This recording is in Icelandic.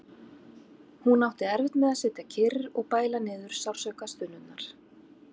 Hún átti erfitt með að sitja kyrr og bæla niður sársaukastunurnar.